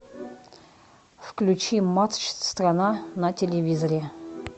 включи матч страна на телевизоре